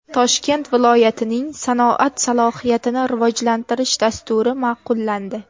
Toshkent viloyatining sanoat salohiyatini rivojlantirish dasturi ma’qullandi.